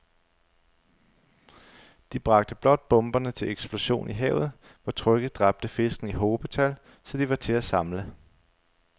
De bragte blot bomberne til eksplosion i havet, hvor trykket dræbte fiskene i hobetal, så de var til at samle